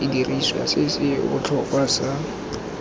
sediriswa se se botlhokwa sa